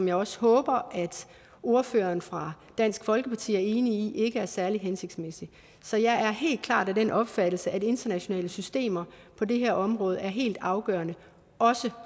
jeg også håber at ordføreren for dansk folkeparti er enig i ikke er særlig hensigtsmæssigt så jeg er helt klart af den opfattelse at internationale systemer på det her område er helt afgørende også